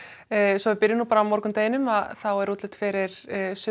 ég byrja á morgundeginum það er útlit fyrir